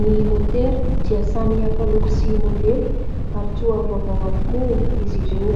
Ny motera dia samy hafa loko sy modely, ary toa vaovao avokoa izy ireo.